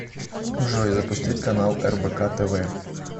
джой запустить канал рбк тв